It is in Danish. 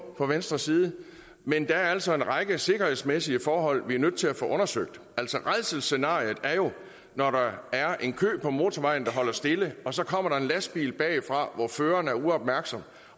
fra venstres side men der er altså en række sikkerhedsmæssige forhold vi er nødt til at få undersøgt rædselsscenariet er jo når der er en kø på motorvejen der holder stille og der så kommer en lastbil bagfra hvor føreren er uopmærksom